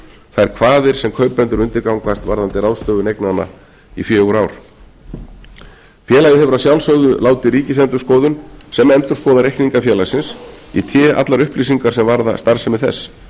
þær kvaðir sem kaupendur undirgangast varðandi ráðstöfun eignanna í fjögur ár félagið hefur að sjálfsögðu látið ríkisendurskoðun sem endurskoðar reikninga félagsins í té allar upplýsingar sem varða starfsemi þess